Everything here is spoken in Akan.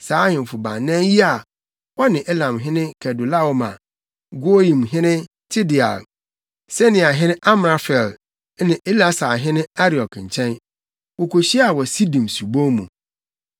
saa ahemfo baanan yi a wɔne Elamhene Kedorlaomer, Goiimhene Tideal, Sinearhene Amrafel ne Elasarhene Ariok nkyɛn. Wokohyiaa wɔ Sidim subon mu.